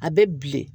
A bɛ bilen